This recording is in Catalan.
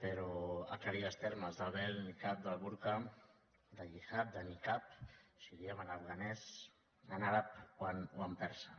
però aclarir els termes de vel nicab del burca de hijab de nicab si ho diem en afganès en àrab o en persa